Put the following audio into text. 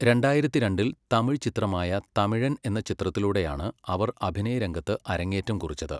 രണ്ടായിരത്തി രണ്ടിൽ തമിഴ് ചിത്രമായ തമിഴൻ എന്ന ചിത്രത്തിലൂടെയാണ് അവർ അഭിനയരംഗത്ത് അരങ്ങേറ്റം കുറിച്ചത്.